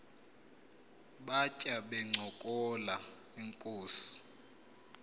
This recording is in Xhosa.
batya bencokola inkos